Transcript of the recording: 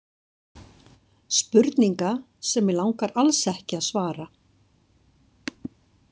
Spurninga sem mig langar alls ekki að svara.